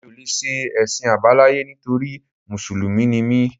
Mi ò lè ṣe Ẹ̀sìn Àbáláyé nítorí Mùsùlùmí ni mí.